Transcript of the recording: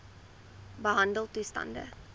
behandeltoestande